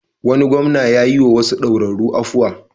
Wani gwamna ya yiwa wasu daurarru afuwa.